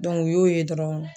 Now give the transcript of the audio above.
Dɔnku u y'o ye dɔrɔn